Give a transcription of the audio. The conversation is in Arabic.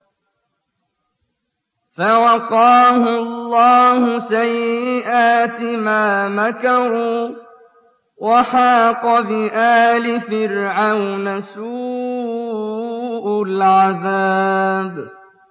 فَوَقَاهُ اللَّهُ سَيِّئَاتِ مَا مَكَرُوا ۖ وَحَاقَ بِآلِ فِرْعَوْنَ سُوءُ الْعَذَابِ